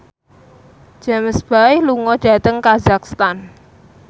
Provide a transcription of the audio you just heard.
James Bay lunga dhateng kazakhstan